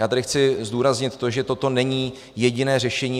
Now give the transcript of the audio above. Já tady chci zdůraznit to, že toto není jediné řešení.